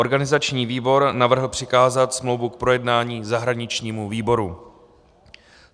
Organizační výbor navrhl přikázat smlouvu k projednání zahraničnímu výboru.